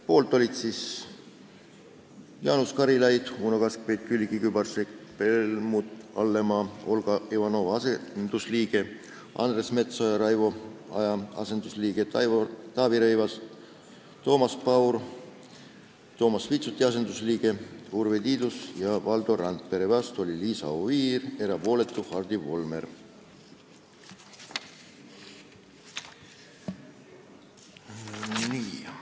Poolt olid Jaanus Karilaid, Uno Kaskpeit, Külliki Kübarsepp, Helmut Hallemaa , Andres Metsoja , Taavi Rõivas, Toomas Paur , Urve Tiidus ja Valdo Randpere, vastu oli Liisa Oviir, erapooletuks jäi Hardi Volmer.